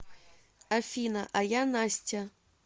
афина а я настя